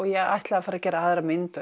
ég ætlaði að fara að gera aðra mynd